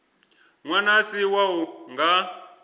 ṅwana a si wau nga